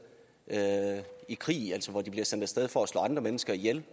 i krig altså hvor de bliver sendt af sted for at slå andre mennesker ihjel